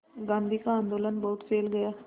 गांधी का आंदोलन बहुत फैल गया